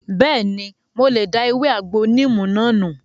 Bẹ́ẹ̀ni, mo lè da ewé àgbo níìmù náà nù